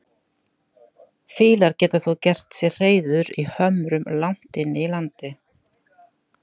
Fýlar geta þó gert sér hreiður í hömrum langt inni í landi.